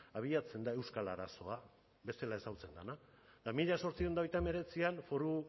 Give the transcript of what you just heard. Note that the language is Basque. abiatzen da euskal arazoa bezala ezagutzen dena eta mila zortziehun eta hogeita hemeretzian foru